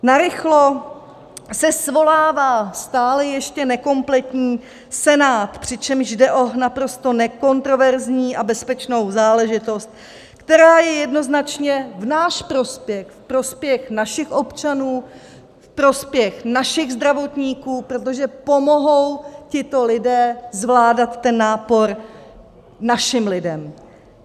Narychlo se svolává stále ještě nekompletní Senát, přičemž jde o naprosto nekontroverzní a bezpečnou záležitost, která je jednoznačně v náš prospěch, ve prospěch našich občanů, ve prospěch našich zdravotníků, protože pomohou tito lidé zvládat ten nápor našim lidem.